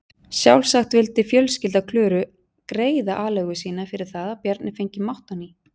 Sjálfsagt vildi fjölskylda Klöru greiða aleigu sína fyrir það að Bjarni fengi mátt á ný.